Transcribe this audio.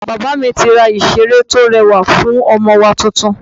Bàbá mi ti rá ìsere to rẹwa fún ọmọ wá tuntun